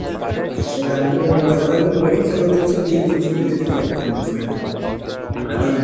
এবার আমাদের তো মনে করে যে পরীক্ষা দিন ছুটি দিয়েছে পরীক্ষার মাজ্ঘানে, এই